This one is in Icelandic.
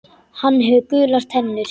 Hann hefur gular tennur.